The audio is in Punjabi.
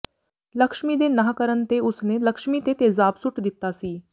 ਲਕਸ਼ਮੀ ਦੇ ਨਾਂਹ ਕਰਨ ਤੇ ਉਸ ਨੇ ਲਕਸ਼ਮੀ ਤੇ ਤੇਜ਼ਾਬ ਸੁੱਟ ਦਿੱਤਾ ਸੀ